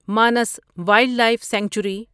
Manas wildlife sanctuary